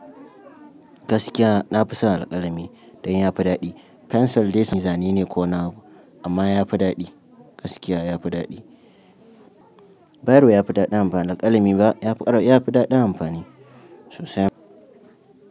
Gaskiya nafi son alƙalami dan yafi daɗi. Pencil dai sai zane ne ko nawa amma yafi daɗi, gaskiya yafi daɗi. Bairo yafi daɗi amfani, alƙalami ba yafi daɗi amfani sosai.